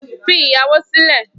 Fi ìyàwó sílẹ̀